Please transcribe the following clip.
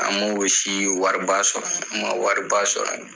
An m'o si wariba sɔrɔ, an ma wariba sɔrɔ